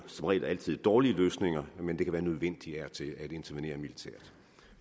som regel altid dårlige løsninger men det kan være nødvendigt af og til at intervenere militært